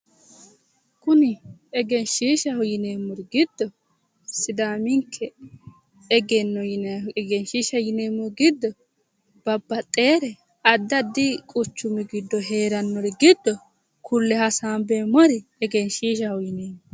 Kuni egenishiishaho yinemori giddo sidaaminikke egenno yinayihu egenishiishaho yinemori giddo babbaxewore addi addi quchumi giddo heerannori giddo kulle hasanibeemori egenishiishaho yineemo